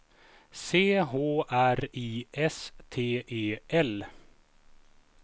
C H R I S T E L